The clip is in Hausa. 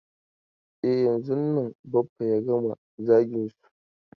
E, yanzun nan Baffa ya gama zagin su.